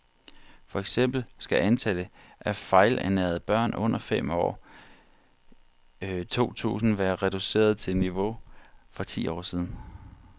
For eksempel skal antallet af fejlernærede børn under fem år i år to tusind være reduceret til niveauet for for ti år siden.